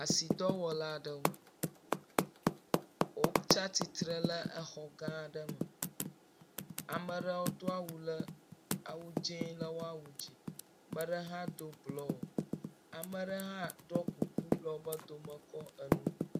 Asidɔwɔla aɖewo, wotsa tsutre le exɔ gã aɖe me, ame ɖewo do awu le awu dzee le woawu dzi, amele hã do blɔ, amele hã ɖɔ kuku le wobe dome kɛ enu.